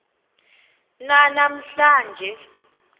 nana mhla nje